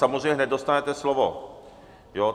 Samozřejmě hned dostanete slovo.